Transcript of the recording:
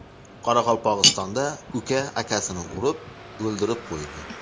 Qoraqalpog‘istonda uka akasini urib, o‘ldirib qo‘ydi.